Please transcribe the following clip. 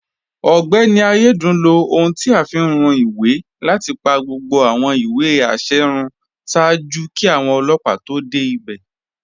Ọgbẹni Ayédùn ló ọ̀hun tí a fi ń rún ìwé láti pa gbogbo awọn ìwé àṣẹ̀ rún ṣáàjú kí awọn ọlọpa tó dẹ́ ibẹ̀.